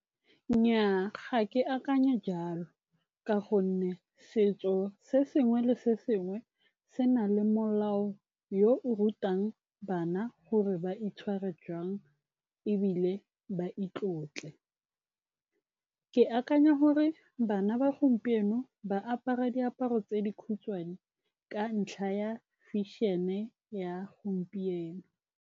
Nnyaa, ga ke akanye jalo ka gonne setso se sengwe le sengwe se na le molao yo o rutang bana gore ba itshware jang, ebile ba itlotle. Ke akanya gore bana ba gompieno ba apara diaparo tse dikhutshwane ka ntlha ya fashion-e ya gompieno.